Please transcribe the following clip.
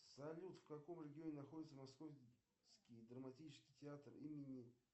салют в каком регионе находится московский драматический театр имени